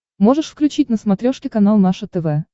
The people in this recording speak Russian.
можешь включить на смотрешке канал наше тв